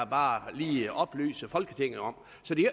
bare lige oplyse folketinget om